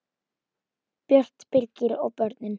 Björt, Birgir og börnin.